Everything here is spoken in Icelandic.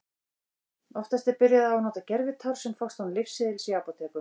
Oftast er byrjað á að nota gervitár sem fást án lyfseðils í apótekum.